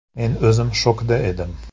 Men o‘zim shokda edim.